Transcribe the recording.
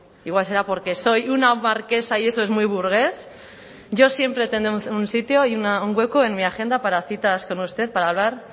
igual será porque soy una marquesa y eso es muy burgués yo siempre tendré un sitio y un hueco en mi agenda para citas con usted para hablar